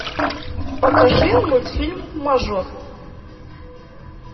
покажи мультфильм мажор